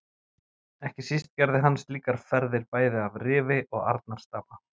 Ekki síst gerði hann slíkar ferðir bæði að Rifi og Arnarstapa.